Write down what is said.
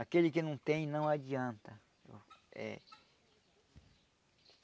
Aquele que não tem não adianta. Eh